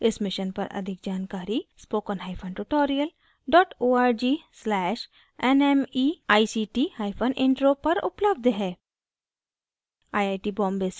इस mission पर अधिक जानकरी spoken hyphen tutorial dot org slash nmeict hyphen intro पर उपलब्ध है